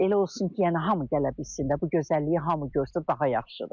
Elə olsun ki, yəni hamı gələ bilsin də, bu gözəlliyi hamı görsün, daha yaxşıdır.